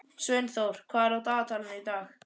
Sveinþór, hvað er á dagatalinu í dag?